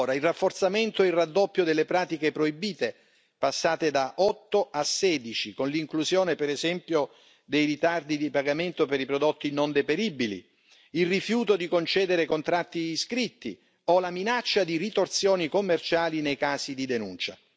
il rafforzamento e il raddoppio delle pratiche proibite, passate da 8 a 16, con l'inclusione, per esempio, dei ritardi di pagamento per i prodotti non deperibili, il rifiuto di concedere contratti scritti, o la minaccia di ritorsioni commerciali nel caso di denuncia